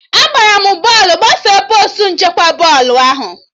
Agbara m bọọlụ gafere postu nchekwa bọọlụ ahụ